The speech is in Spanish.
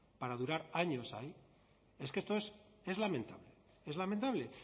para durar años ahí es que esto es lamentable